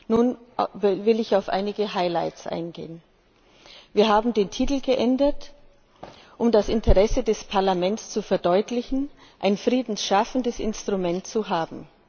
Nun will ich auf einige Highlights eingehen Wir haben den Titel geändert, um das Interesse des Parlaments zu verdeutlichen, ein Frieden schaffendes Instrument zu haben.